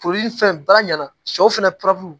Foli ni fɛn bɛɛ ɲɛna sɛw fɛnɛ